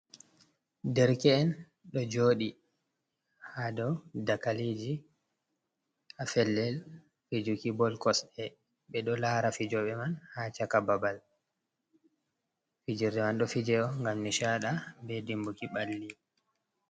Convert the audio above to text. Derke’en ɗo joɗi ha dow dagaleji ha pellel fijuki bol kosɗe, ɓe ɗo lara fijoɓe man ha chaka babal, fijerde man ɗo fijo ngam nishada be dimbuki balli.